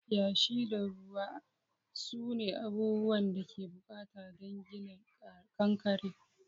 Yashi da ruwa sune abubuwan da ake bukata don gina kankare.